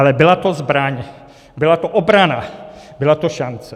Ale byla to zbraň, byla to obrana, byla to šance.